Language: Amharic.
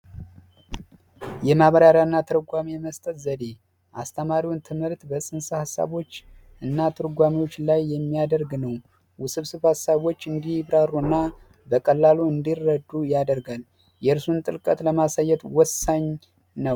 የማብራሪያ እና ትርጓሜ የመስጠት ዘዴ አስተማሪውን ትምህርት በፅንሰ ሀሳቦች እና ትርጓሜዎች ላይ የሚያደረግ ነው። ውስብስብ ሀሳቦች እንዲብራሩ እና በቀላሉ እንዲረዱ ያደርጋል። የርዕሱን ጥልቀት ለማሳየት ወሳኝ ነው።